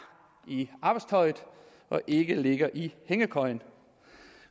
i arbejdstøjet og ikke ligger i hængekøjen